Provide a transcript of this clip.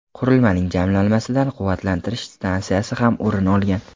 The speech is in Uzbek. Qurilmaning jamlanmasidan quvvatlantirish stansiyasi ham o‘rin olgan.